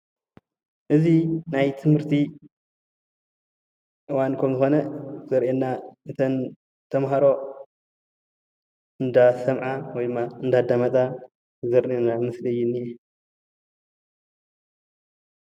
እዚ ናይ ትምህርቲ እዋን ከም ዝኮነ ዘርእየና እተን ተማሃሮ እንዳሰምዓ ወይ ድማ እንዳዳመፃ ዘርእየና ምስሊ እዩ ዝነሄ፡፡